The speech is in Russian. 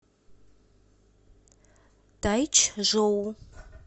тайчжоу